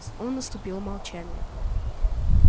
снова наступило молчание